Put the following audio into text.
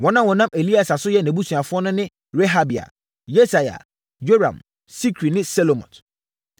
Wɔn a wɔnam Elieser so yɛ nʼabusuafoɔ ne Rehabia, Yesaia, Yoram, Sikri ne Selomot.